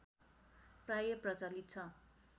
प्राय प्रचलित छ